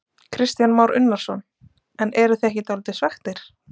Kristján Már Unnarsson: En eruð þið ekki dálítið svekktir?